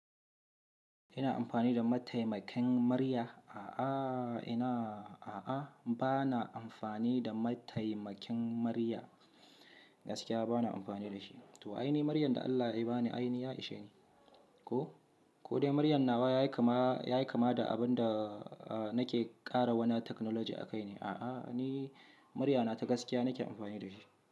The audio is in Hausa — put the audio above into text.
Ina amfani da mataimakin murya? A'a, ina a'a bana amfani da mataimakin murya. Gaskiya bana amfani da shi. To ainihi muryan da Allah ya ba ni ainihi ya ishe ni. Ko, ko dai muryan nawa yayi kama, yayi kama da abin da nake ƙara wani technology a kai ne. A'a ni murya na ta gaskiya nake amfani da shi.